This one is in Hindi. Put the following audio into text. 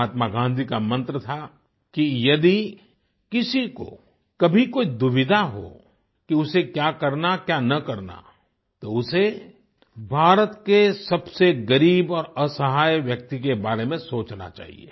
महात्मा गाँधी का मंत्र था कि यदि किसी को कभी कोई दुविधा हो कि उसे क्या करना क्या न करना तो उसे भारत के सबसे गरीब और असहाय व्यक्ति के बारे में सोचना चाहिए